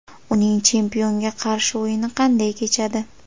Uning chempionga qarshi o‘yini qanday kechadi?